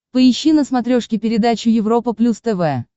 поищи на смотрешке передачу европа плюс тв